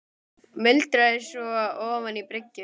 muldraði hann svo ofan í bringuna.